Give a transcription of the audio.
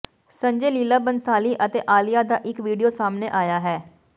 ਸੰਜੇ ਲੀਲਾ ਭੰਸਾਲੀ ਅਤੇ ਆਲੀਆ ਦਾ ਇਕ ਵੀਡੀਓ ਸਾਹਮਣੇ ਆਇਆ ਹੈ